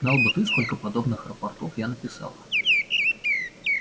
знал бы ты сколько подобных рапортов я написал